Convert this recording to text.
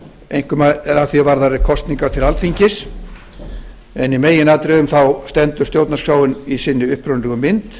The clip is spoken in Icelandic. einkum að því er varðar kosningar til alþingis en í meginatriðum stendur stjórnarskráin í sinni upprunalegu mynd